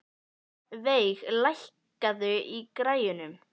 Veig, lækkaðu í græjunum.